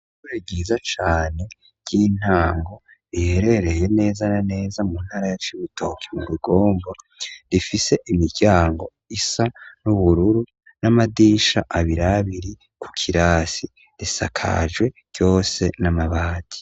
Ishure ryiza cane ry'intango riherereye neza na neza mu ntara ya cibitoki mu rugombo rifise imiryango isa n'ubururu n'amadisha abirabiri ku kirasi risakajwe cose n'amabati.